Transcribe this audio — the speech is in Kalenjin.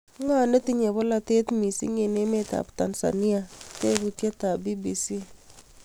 " Ng'o netinyee polootet misiing' eng' emet ap tanzania?" Teputieet ap BBC